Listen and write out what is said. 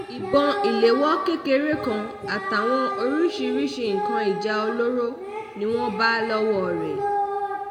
ìbọn ìléwọ́ kékeré kan àtàwọn oríṣiríṣiì nǹkan ìjà olóró ni wọ́n bá lọ́wọ́ rẹ̀